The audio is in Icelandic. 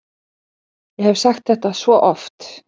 Ég hef sagt þetta svo oft.